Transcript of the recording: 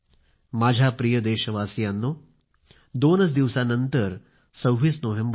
माझ्या प्रिय देशवासीयांनो दोन दिवसांनंतर 26 नोव्हेंबर आहे